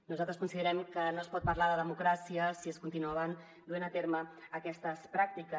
nosaltres considerem que no es pot parlar de democràcia si es continuaven duent a terme aquestes pràctiques